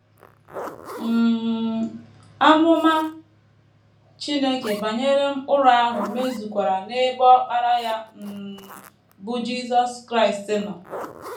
um Amụma Chineke banyere Mkpụrụ ahụ mezukwara n’ebe Ọkpara ya um, bụ́ Jisọs Kraịst, nọ.